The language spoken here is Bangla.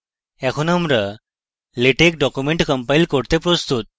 এখন আমরা আমাদের latex document compile করার জন্য প্রস্তুত